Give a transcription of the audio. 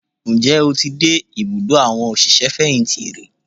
Ǹjẹ́ o ti dé ìbùdó àwọn òṣìṣẹ́ fẹ̀yìntì rí?